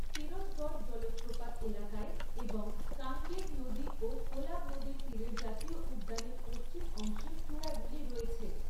তীরথগড় জলপ্রপাত এলাকায় এবং কাঙ্গের নদী ও কোলাব নদীর তীরের জাতীয় উদ্যানের পশ্চিম অংশে চূড়াগুলি রয়েছে।